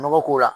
Nɔgɔ k'o la